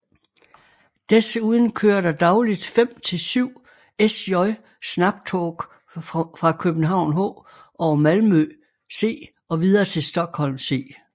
Desuden kører der dagligt fem til syv SJ Snabbtåg fra København H over Malmö C og videre til Stockholm C